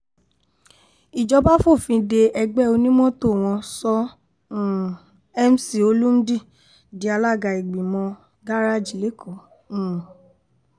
ìjọba fòfin de ẹgbẹ́ onímọ́tò wọn sọ um mc olmudi di alága ìgbìmọ̀ gárẹ́ẹ̀jì lẹ́kọ̀ọ́ um